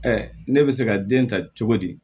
ne bɛ se ka den ta cogo di